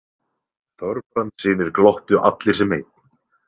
Þorbrandssynir glottu allir sem einn.